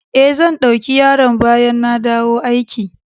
Eh, zan dauki yaron bayan na dawo aiki.